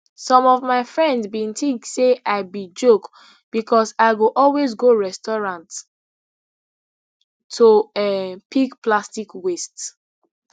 some of my friends bin tink say i be joke becos i go always go restaurants to um pick plastic waste